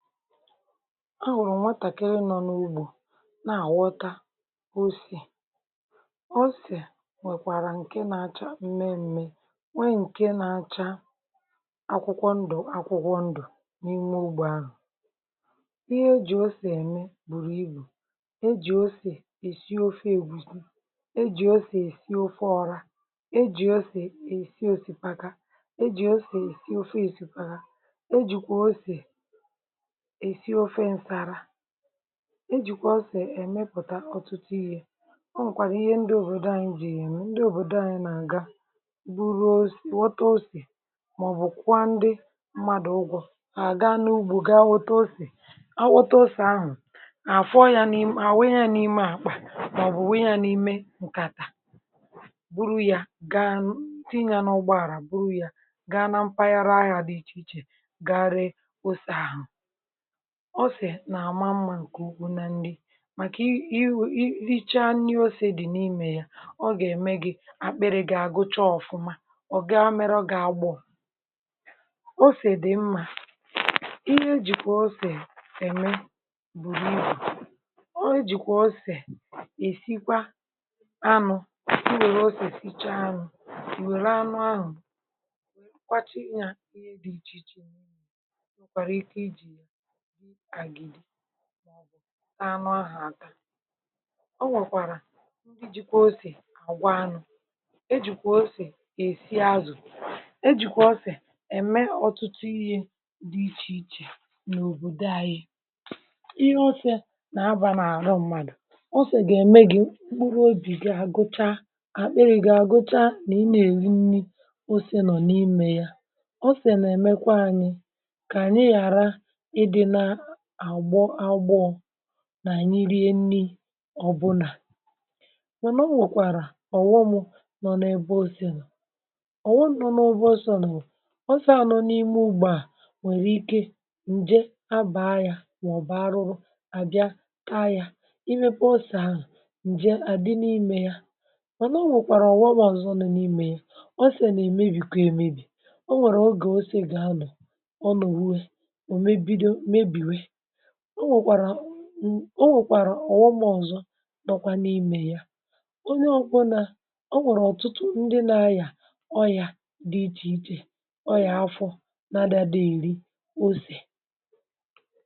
Ahụ̀rụ̀ nwatàkiri nọ n’ugbȯ na-àghọta ọse. Osè è nwèkwàrà ǹke na-acha mmẹmẹ, nwe ǹke na-acha akwụkwọ ndụ̀ akwụkwọ ndụ̀ n’ime ugbȯ ahụ̀. Ihe ejì osè ème bùrù ibù, ejì osè èsi ofe ègwuzi, ejì osè èsi ofe ọra, ejì osè èsi osìpaka, ejì ose èsi ofe osìpaka, ejìkwa osè èsi ofe ǹsàlà, ejìkwa ọsè èmepùtà ọtụtụ ihe. Ọ nwèkwàrà ihe ndị òbòdò anyị jì yà eme. Ndị òbòdò anyị nà-àga bụrụ osè ghọta osè ̀ mà ọbụ̀ kwụọ ndị mmadụ̀ ụgwọ à ga n’ugbȯ ga nghọta osè̀. A ghọta osè̀ ahụ̀, àfọ ya n’ime ma ọbụ wunye ya n’ime àkpà màọbụ̀ wunye yá n’ime ǹkàtà bụrụ ya ga tinye ya n’ụgbọàlà bụrụ ya ga na mpaghara ahịa dị ichè ichè gari osè àhụ̀. Osè nà-àma mmȧ ǹkè ugwu nà nri màkà ìri chaa ìri osè dị̀ n’imė ya, ọ gà-ème gị akpịrị gị àgụcha ọ̀fụma ọ gaa mere gi-agbò. Osè dị̀ mma, ihe ejìkwà ọsè ème bùrù ibù. E jìkwà ọsè èsikwa anụ, ewèrè ọsè sichaa anụ, ewèrè anụ ahụ̀ kwachaa ya ihe dị ichè ichè n'ime ya, enwèkwàràà ike ijiya rie àgìdì mà ọbụ taa anụ ahụ ata. E nwèkwàrà ndị jikwa osè àgwanụ, e jìkwà osè èsi azụ̀, e jìkwà osè ème ọ̀tụtụ ìhè̇ dị ichè ichè n’òbòdò anyị. Ihe osè nà-abȧ n’àrọ mmadụ̀. Osè gà-ème gị mkpụrụ obì gị à gụchaa àkpịrị gị à gụcha nà ị nà èri nni osè nọ̀ n’imė ya. Osè na-emekwa anyi ka anyị ghàra ị dinaa agbọ agbọ nà ànyị rie nni ọbụnà. Mànà o nwèkwàrà ọ̀ghọm nọ n’ebe ose nọ̀, ọ̀ghọm nọ n’ebe osè nọ̀ bu osè à nọ n’ime ugbȯ à nwèrè ike ǹje abà aghȧ mà ọ̀bụ̀ arụrụ à bịa taa ya, imėpė osè ahụ̀ ǹje àdị n’imė yȧ. Mànà o nwèkwàrà ọ̀ghọm ọzọ nọ n’imė yà. Osè nà èmebìkwa èmebì. Ọ nwèrè ogè ose gà anọ ọnụ̀ wee ọ wee bido nmebi wee. Ọ nwèkwàrà ọ̀ghọm ọ̀zọ nọ kwà n’imė ya, onye ọ bụ nà o nwèrè ọ̀tụtụ ndị nȧ-ayà ọyà dị ichè ichè ọyà afọ nȧ-ȧdị àdị èri osè.